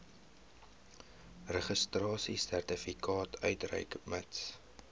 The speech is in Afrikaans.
registrasiesertifikaat uitreik mits